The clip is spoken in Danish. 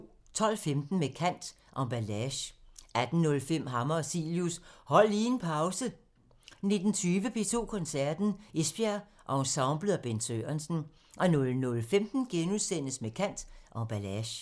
12:15: Med kant – Emballage 18:05: Hammer og Cilius – Hold lige en pause 19:20: P2 Koncerten – Esbjerg Ensemblet og Bent Sørensen 00:15: Med kant – Emballage *